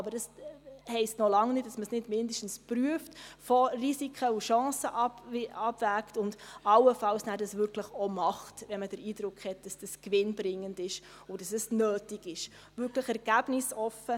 Aber das heisst noch lange nicht, dass man dies nicht mindestens prüft, Risiken und Chancen abwägt und es allenfalls nachher auch wirklich macht, wenn man den Eindruck hat, dass es gewinnbringend und nötig ist – möglichst ergebnisoffen.